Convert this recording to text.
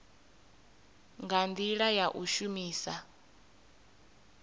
nga ndila ya u shumisa